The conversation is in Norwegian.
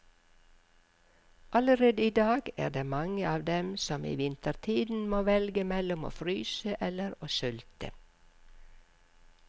Allerede i dag er det mange av dem som i vintertiden må velge mellom å fryse eller å sulte.